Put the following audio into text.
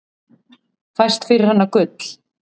Fæst fyrir hana gull.